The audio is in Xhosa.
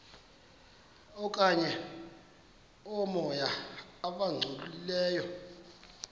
okanye oomoya abangcolileyo